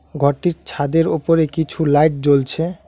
ঘরটির ছাদের ওপরে কিছু লাইট জ্বলছে।